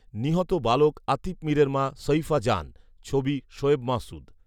নিহত নাবালক আতিফ মীরের মা শঈফা জান ছবি শোয়েব মাসুদ